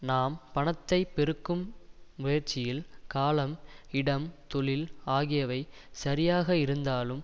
நாம் பணத்தை பெருக்கும் முயற்சியில் காலம் இடம் தொழில் ஆகியவை சரியாக இருந்தாலும்